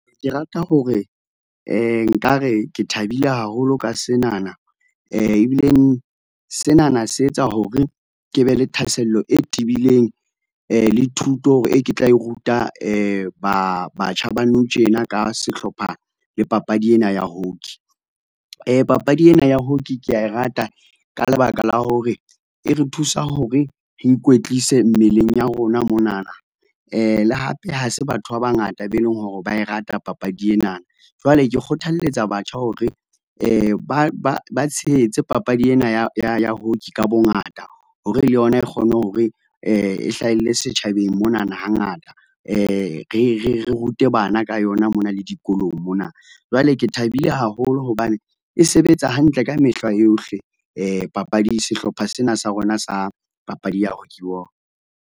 Ke rata hore nkare ke thabile haholo ka senana, ebileng senana se etsa hore ke be le thahasello e tibileng, le thuto e ke tla e ruta ba, batjha ba nou tjena ka sehlopha le papadi ena ya hockey. Papadi ena ya hockey ke ya e rata ka lebaka la hore e re thusa hore re ikwetlise mmeleng ya rona monana. le hape ha se batho ba bangata be leng hore ba e rata papadi ena, jwale ke kgothaletsa batjha hore ba, ba, ba tshehetse papadi ena ya, ya, ya hockey ka bongata hore le yona e kgone hore, e hlahelle setjhabeng monana hangata. Re, re, re rute bana ka yona mona le dikolong mona. Jwale ke thabile haholo hobane e sebetsa hantle ka mehla yohle, papadi, sehlopha sena sa rona sa papadi ya hockey .